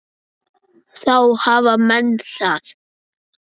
Þá hafa menn það.